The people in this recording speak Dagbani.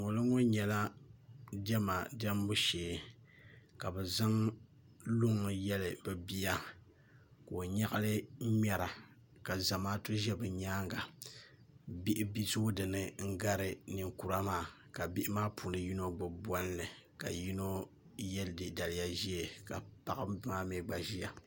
ŋoliŋo nyɛla diɛma diɛmbu shee ka bi zaŋ luŋ yɛli bi bia ka o nyaɣali n ŋmɛra ka zamaatu ʒɛ bi nyaanga bihi zooi dinni n gari ninkura maa ka bihi maa si gbubi bolli ka yino yɛ daliya ʒiɛ ka paɣaba maa mii gba ʒiya